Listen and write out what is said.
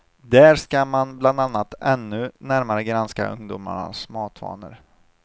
Där ska man bland annat ännu närmare granska ungdomarnas matvanor.